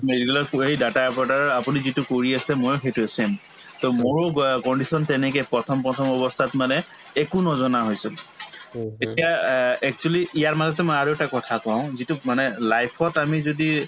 medical ত data operator ৰ আপুনি যিটো কৰি আছে ময়ো সেইটোয়ে same to মোৰো গুয়ে condition তেনেকে প্ৰথম প্ৰথম অৱস্থাত মানে একো নজনা হৈছো এতিয়া a actually ইয়াৰ মাজতে মই আৰু এটা কথা কওঁ যিটো মানে life ত আমি যদি